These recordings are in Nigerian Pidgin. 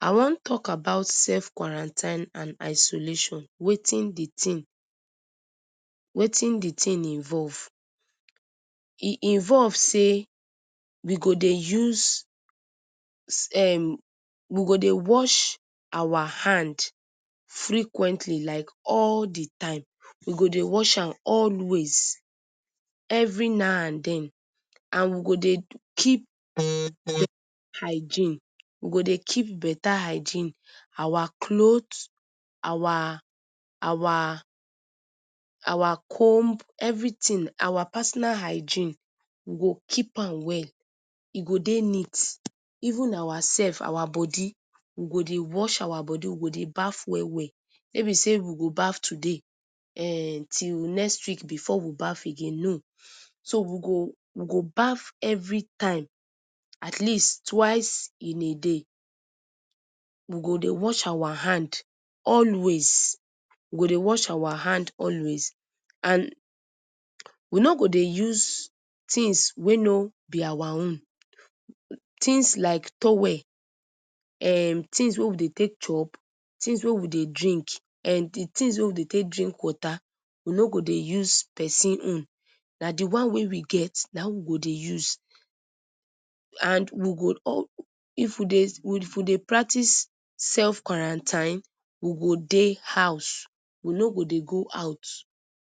I wan talk about self-quarantine and isolation, watin di tin involve. E involve say, we go dey use um we go dey wash our hand frequently like all di time, we go dey wash am always every now and then and we go dey keep hygiene we go dey keep beta hygiene, our cloth, our our comb everytin our personal hygiene we go keep am well e go dey neat even our self our body we go dey wash our body, we go dey baff well well no be say we go baff today till next week before we baff again. So we go we go baff everytime at least twice in a day, we go dey wash our hand always we go dey wash our hand always and we no go dey use tins wey no be our own, tins like towel um tins wey we dey take chop, tins we dey drink um di tins wey we dey take drink water, we no go dey use pesin own, na di one wey we get na him we go dey use and we go if we dey if we dey practice self-quarantine we go dey house, we no go dey go out,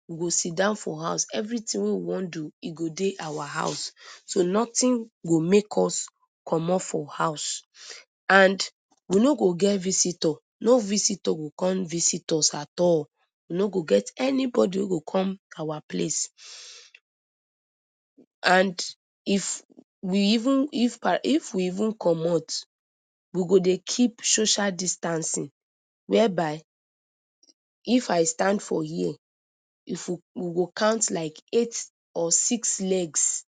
we go sidon for house everytin wey we wan do e go dey our house so notin go make us commot for house and we no go get visitor, no visitor go come visit us at all. We no go get anybody wey go come our place and if we even pa if we even commot we go dey keep social distancing wia by if I stand for here if you go count like eight or six legs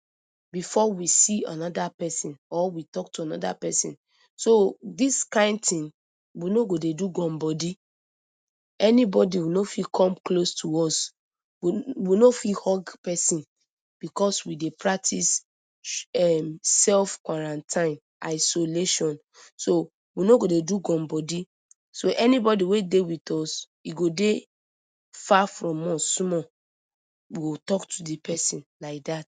before we see anoda pesin or we talk to anoda pesin. So dis kind tin we no bo dey do gum-body anybody wi no fit come close to us, we no fit hug persin because we dey practice emm self-quarantine, isolation. So we no go dey do gum-body, so anybody wey dey with us e go dey far from us small, we go talk to di pesin like dat.